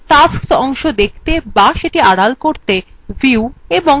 tasks অংশ দেখাতে to আড়াল করতে